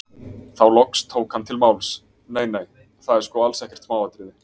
Þá loks tók hann til máls: Nei, nei, það er sko alls ekkert smáatriði.